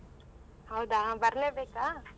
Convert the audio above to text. ಹೌದಾ ಬರ್ಲೇಬೇಕಾ?